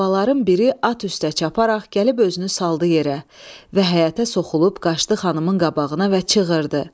Qlavaların biri at üstə çaparaq gəlib özünü saldı yerə və həyətə soxulub qaçdı xanımın qabağına və çığırdı: